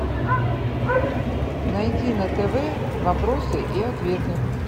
найди на тв вопросы и ответы